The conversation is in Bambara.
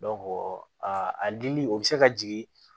a a dili o bɛ se ka jigin